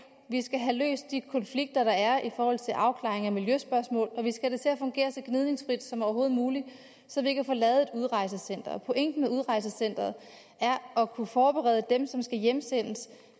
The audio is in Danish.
vi skal have løst de konflikter der er i forhold til en afklaring af miljøspørgsmål og vi skal have det til at fungere så gnidningsfrit som overhovedet muligt så vi kan få lavet et udrejsecenter pointen med udrejsecenteret er at kunne forberede dem som skal hjemsendes